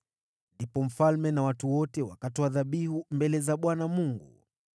Ndipo mfalme na watu wote wakatoa dhabihu mbele za Bwana Mungu.